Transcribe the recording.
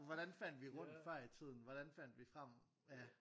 Hvordan fandt vi rundt før i tiden hvordan fandt vi frem ja